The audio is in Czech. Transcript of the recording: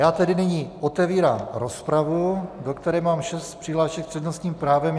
Já tedy nyní otevírám rozpravu, do které mám šest přihlášek s přednostním právem.